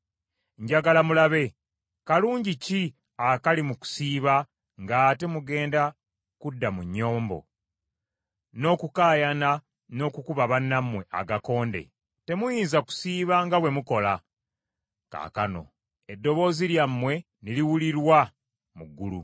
Njagala mulabe. Kalungi ki akali mu kusiiba ng’ate mugenda kudda mu nnyombo, n’okukaayana n’okukuba bannammwe agakonde. Temuyinza kusiiba nga bwe mukola kaakano eddoboozi lyammwe ne liwulirwa mu ggulu.